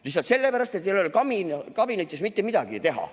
Lihtsalt sellepärast, et teil ei ole kabinetis mitte midagi teha.